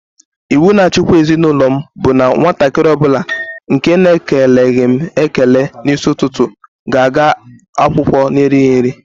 Iwu na-achikwa ezi n'ụlọ m bụ na nwatakịrị ọ bụla nke na-ekeleghị m ekele n'isi ụtụtụ ga-aga akwụkwọ n'erighị nri.